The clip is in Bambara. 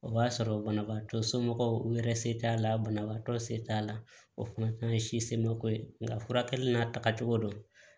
O b'a sɔrɔ banabaatɔ somɔgɔw u yɛrɛ se t'a la banabaatɔ se t'a la o fana ye si semako ye nga furakɛli n'a tagacogo dɔ